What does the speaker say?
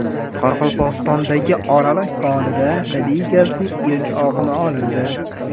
Qoraqalpog‘istondagi Oraliq konida tabiiy gazning ilk oqimi olindi.